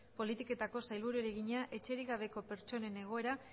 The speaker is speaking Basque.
politiketako sailburuari egina etxerik gabeko pertsonen egoera